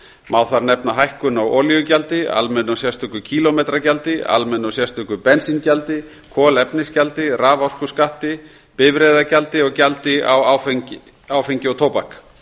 má þar nefna hækkun á olíugjaldi almennu og sérstöku kílómetragjaldi almennu og sérstöku bensíngjaldi kolefnisgjaldi raforkuskatti bifreiðagjaldi og gjaldi af áfengi og tóbak